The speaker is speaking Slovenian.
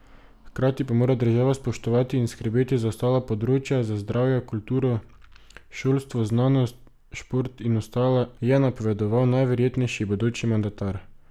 Hkrati pa mora država spoštovati in skrbeti za ostala področja, za zdravje, kulturo, šolstvo, znanost, šport in ostala, je napovedoval najverjetnejši bodoči mandatar.